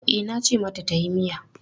E, nace mata tayi miya.